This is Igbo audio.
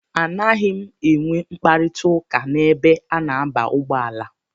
A naghị m enwe mkparita ụka n'ebe a na-aba ụgbọala.